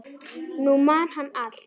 Nú man hann allt.